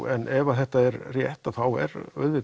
en ef þetta er rétt er